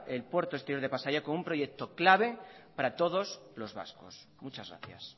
el puerto exterior de pasaia como un proyecto clave para todos los vascos muchas gracias